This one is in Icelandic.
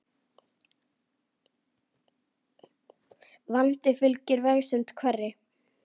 Vandi fylgir vegsemd hverri.